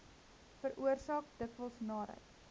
veroorsaak dikwels naarheid